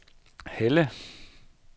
Helle